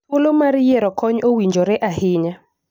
Thuolo mar yiero kony owinjore ahinya